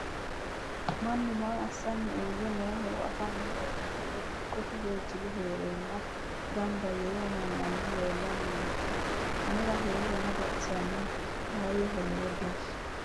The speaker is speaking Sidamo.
mannu maa assanni uure nooohoro afano hoogummoro dikkote woy jilu heerenna gamba yee noo manni leellanni nooe anera heerona baxisanno faayyaho lowo geeshsha